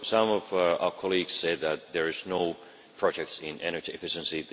Some of our colleagues said that there were no projects in energy efficiency.